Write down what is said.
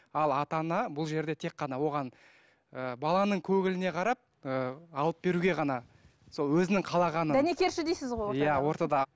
ал ата ана бұл жерде тек қана оған ыыы баланың көңіліне қарап ыыы алып беруге ғана сол өзінің қалағанын дәнекерші дейсіз ғой ортада иә ортада